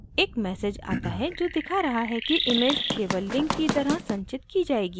एक message आता है जो दिखा रहा है कि image केवल link की तरह संचित की जाएगी